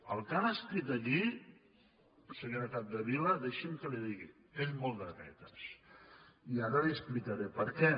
el que han escrit aquí senyora capdevila deixi’m que li ho digui és molt de dretes i ara li explicaré per què